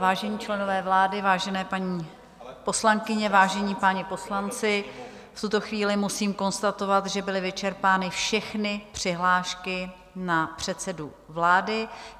Vážení členové vlády, vážené paní poslankyně, vážení páni poslanci, v tuto chvíli musím konstatovat, že byly vyčerpány všechny přihlášky na předsedu vlády.